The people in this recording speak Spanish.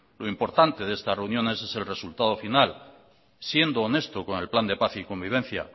lo importante de estas reuniones es el resultado final siendo honesto con el plan de paz y convivencia